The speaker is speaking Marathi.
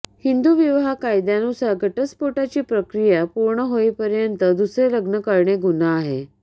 हिंदू विवाह कायद्यानुसार घटस्फोटाची प्रक्रिया पूर्ण होईपर्यंत दुसरे लग्न करणे गुन्हा आहे